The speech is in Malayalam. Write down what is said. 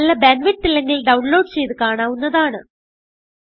നല്ല ബാൻഡ് വിഡ്ത്ത് ഇല്ലെങ്കിൽ ഡൌൺലോഡ് ചെയ്ത് കാണാവുന്നതാണ്